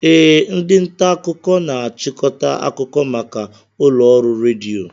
Ee, ndị nta akụkọ na-achịkọta akụkọ maka ụlọ ọrụ redio